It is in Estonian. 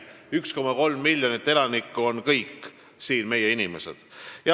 Siinsed 1,3 miljonit elanikku on kõik meie inimesed.